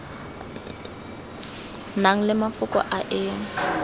nang le mafoko a e